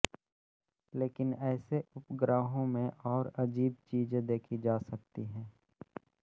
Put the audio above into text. लेकिन ऐसे उपग्रहों में और अजीब चीज़ें देखी जा सकती हैं